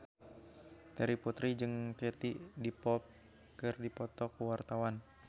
Terry Putri jeung Katie Dippold keur dipoto ku wartawan